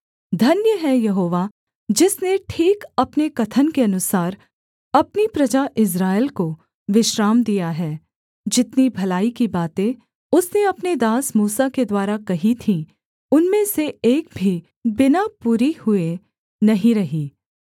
धन्य है यहोवा जिसने ठीक अपने कथन के अनुसार अपनी प्रजा इस्राएल को विश्राम दिया है जितनी भलाई की बातें उसने अपने दास मूसा के द्वारा कही थीं उनमें से एक भी बिना पूरी हुए नहीं रही